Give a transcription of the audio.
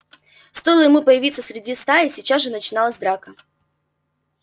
стоило ему появиться среди стаи сейчас же начиналась драка